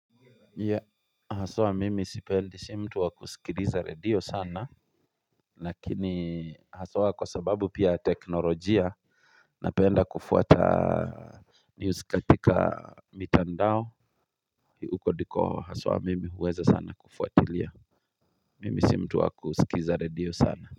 Ya haswa mimi sipendi si mtu wa kusikiliza redio sana lakini haswa kwa sababu pia teknolojia napenda kufuata news katika mitandao. Huko ndiko haswa mimi huweza sana kufuatilia. Mimi si mtu wa kuskiza redio sana.